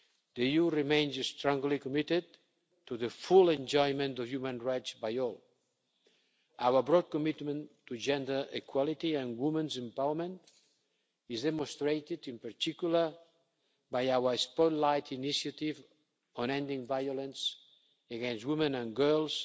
The EU remains strongly committed to the full enjoyment of human rights by all. Our broad commitment to gender equality and women's empowerment is demonstrated, in particular, by our Spotlight Initiative on ending violence against women and